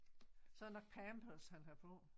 Så det nok pampers han har på